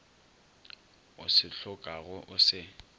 o se hlokago o se